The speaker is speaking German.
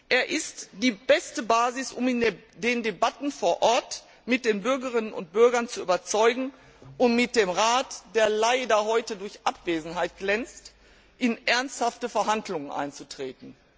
Er ist die beste Basis, um in den Debatten vor Ort mit den Bürgerinnen und Bürgern zu überzeugen und mit dem Rat, der leider heute durch Abwesenheit glänzt, in ernsthafte Verhandlungen einzutreten.